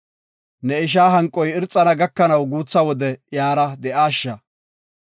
Ne isha hanqoy irxana gakanaw guutha wode iyara de7aasha.